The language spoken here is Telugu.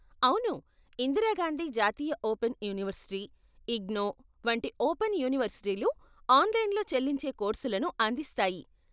అవును, ఇందిరా గాంధీ జాతీయ ఓపెన్ యూనివర్సిటీ, ఇగ్నౌ, వంటి ఓపెన్ యూనివర్సిటీలు ఆన్లైన్లో చెల్లించే కోర్సులను అందిస్తాయి.